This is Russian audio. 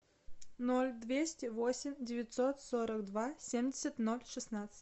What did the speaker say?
ноль двести восемь девятьсот сорок два семьдесят ноль шестнадцать